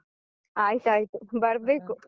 ಆಯ್ತಾಯ್ತು ಬರ್ಬೇಕು.